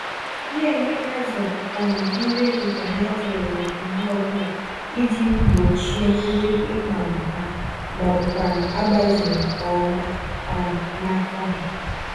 Na-enye azụ um nri nke ha toruru mgbè ọbụla iji gbochie nri ịkpagbu ha, mọbụkwanụ̀ agbazeghị nke ọma um n'afọ ha.